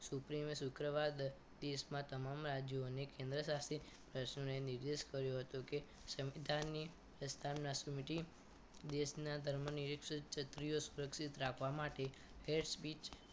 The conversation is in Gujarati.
Supreme શુક્રવાર દસ ત્રીસ માં તમામ રાજ્યો અને કેન્દ્રશાસિત રાજ્યોને નિર્દેશ કર્યો હતો કે સંપદાય ની સ્વચ્છતા ની committee દેશના ધર્મનું યુદ્ધ રાખવા માટે હેડ સ્વીચ